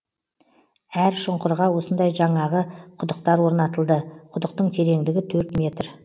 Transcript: әр шұңқырға осындай жаңағы құдықтар орнатылды құдықтың тереңдігі төрт метр